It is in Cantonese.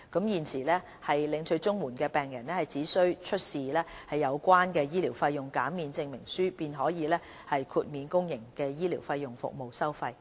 現時，領取綜援的病人只需出示有效的醫療費用減免證明書，便可獲豁免公營醫療服務的收費。